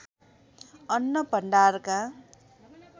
अन्न भण्डारका